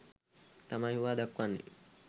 තමයි හුවා දක්වන්නෙ.